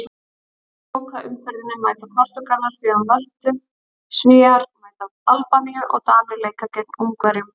Í lokaumferðinni mæta Portúgalar síðan Möltu, Svíar mæta Albaníu og Danir leika gegn Ungverjum.